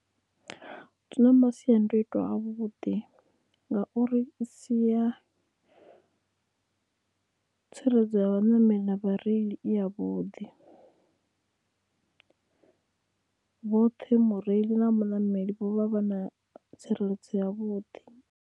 Zwi na masiandoitwa a vhuḓi ngauri i siya tsireledzo ya vhaṋameli na vhareili i ya vhuḓi vhoṱhe mureili na muṋameli vho vha vha na tsireledzo a vhuḓi.